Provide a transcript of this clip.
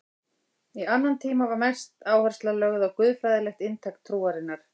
Í annan tíma var mest áhersla lögð á guðfræðilegt inntak trúarinnar.